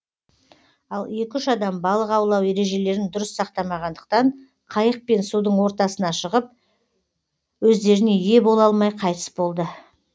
ал екі үш адам балық аулау ережелерін дұрыс сақтамағандықтан қайықпен судың ортасына шығып өздеріне ие бола алмай қайтыс болды